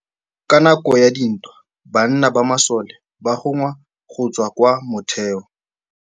Ka nakô ya dintwa banna ba masole ba rongwa go tswa kwa mothêô.